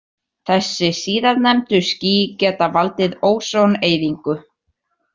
Þessi síðarnefndu ský geta valdið ósoneyðingu.